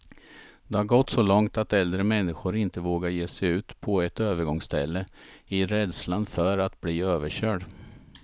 Det har gått så långt att äldre människor inte vågar ge sig ut på ett övergångsställe, i rädslan för att bli överkörd.